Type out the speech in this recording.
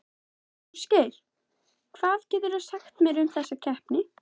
Ásgeir, hvað geturðu sagt mér um þessa keppni?